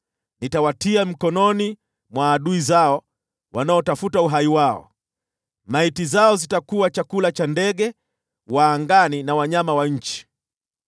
nitawatia mikononi mwa adui zao wanaotafuta uhai wao. Maiti zao zitakuwa chakula cha ndege wa angani na wanyama wa nchi.